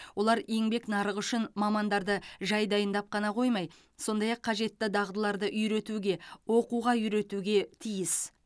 олар еңбек нарығы үшін мамандарды жай дайындап қана қоймай сондай ақ қажетті дағдыларды үйретуге оқуға үйретуге тиіс